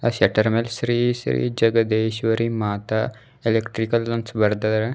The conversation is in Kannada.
ಆ ಶಟರ್ ಮ್ಯಾಲ್ ಶ್ರೀ ಶ್ರೀ ಜಗದೀಶ್ವರಿ ಮಾತಾ ಎಲೆಕ್ಟ್ರಿಕಲ್ ಅಂತ್ ಬರ್ದಾರ.